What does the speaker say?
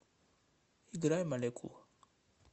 играй молекул